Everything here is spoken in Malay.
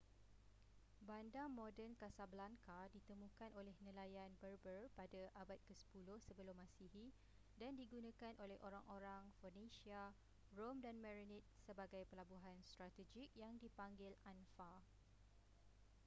bandar moden casablanca ditemukan oleh nelayan berber pada abad ke-10 sebelum masihi dan digunakan oleh orang-orang phoenecia rom dan merenid sebagai pelabuhan strategik yang dipanggil anfa